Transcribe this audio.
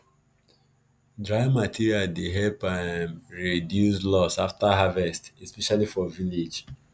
dry material dey help um reduce loss after harvest especially for village